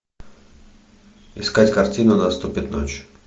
искать картину наступит ночь